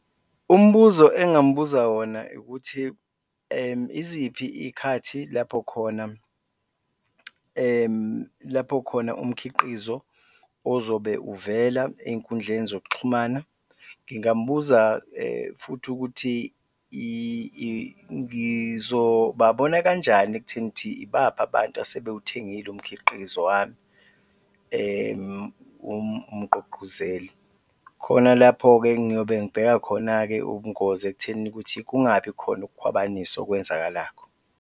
Umbuzo engingamubuza wona ukuthi iziphi iy'khathi lapho khona lapho khona umkhiqizo ozobe uvela ey'nkundleni zokuxhumana, ngingambuza futhi ukuthi ngizobabona kanjani ekutheni ukuthi ibaphi abantu asebewuthengile umkhiqizo wami umgqugquzeli khona lapho-ke ngiyobe ngibheka khona-ke ubungozi ekuthenini ukuthi kungabi khona ukukhwabanisa okwenzakalakho.